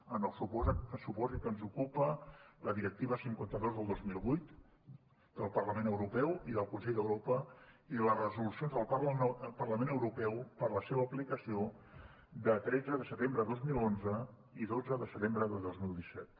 en el supòsit que ens ocupa la directiva cinquanta dos del dos mil vuit del parlament europeu i del consell d’europa i les resolucions del parlament europeu per a la seva aplicació de tretze de setembre de dos mil onze i dotze de setembre de dos mil disset